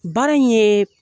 Baara in ye